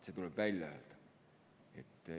See tuleb välja öelda.